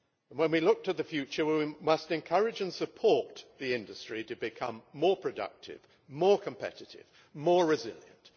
When we look to the future we must encourage and support the industry to become more productive, more competitive, more resilient.